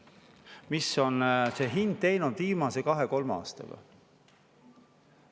Mis on see hind teinud viimase kahe-kolme aastaga?